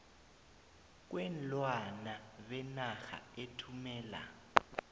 kweenlwana benarha ethumela